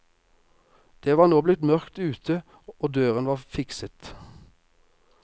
Det var nå blitt mørkt ute og døren var fikset.